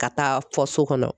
Ka taa fɔ so kɔnɔ.